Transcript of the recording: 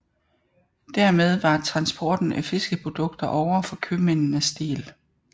Dermed var transporten af fiskeprodukter ovre for købmændenes del